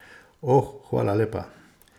O, hvala lepa.